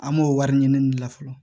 An b'o wari ɲini la fɔlɔ